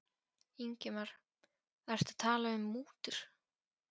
Ingimar: Ertu að tala um mútur?